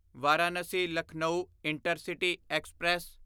Varanasi Lucknow intercity express